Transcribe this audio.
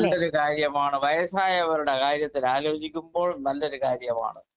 speaker 2 നല്ലൊരു കാര്യമാണ് വയസായവരുടെ കാര്യത്തിൽ ആലോചിക്കുമ്പോൾ നല്ലൊരു കാര്യമാണ്